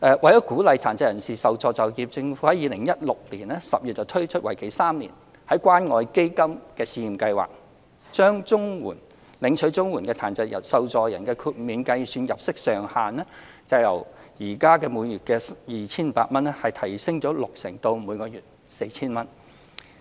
為鼓勵殘疾受助人就業，政府在2016年10月推出為期3年的關愛基金試驗計劃，將領取綜援的殘疾受助人的豁免計算入息上限由每月 2,500 元提升六成至每月 4,000 元。